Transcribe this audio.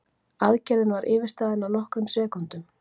Aðgerðin var yfirstaðin á nokkrum sekúndum